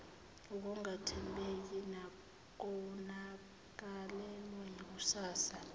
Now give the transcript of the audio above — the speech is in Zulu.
ukungathembeki nokonakalelwa yikusasa